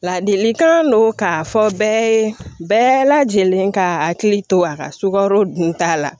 Ladilikan don k'a fɔ bɛɛ ye bɛɛ lajɛlen ka hakili to a ka sukaro dunta la